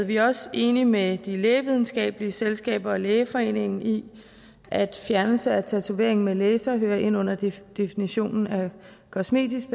vi er også enige med lægevidenskabelige selskaber og lægeforeningen i at fjernelse af tatovering med laser hører ind under definitionen kosmetisk